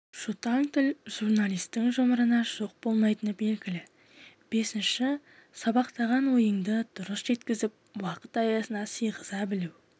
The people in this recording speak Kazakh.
жұтаң тіл журналистің жұмырына жұқ болмайтыны белгілі бесінші сабақтаған ойыңды дұрыс жеткізіп уақыт аясына сыйғыза білуге